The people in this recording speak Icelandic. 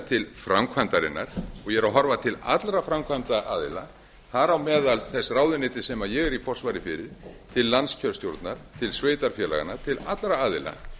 til framkvæmdarinnar og horfi til allra framkvæmdaraðila þar á meðal þess ráðuneytis sem ég er í forsvari fyrir til landskjörstjórnar til sveitarfélaganna til allra aðila